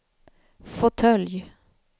fåtölj